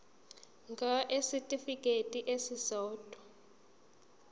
ngur kwisitifikedi esisodwa